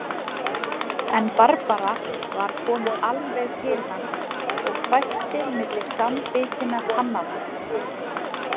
En Barbara var komin alveg til hans og hvæsti milli samanbitinna tannanna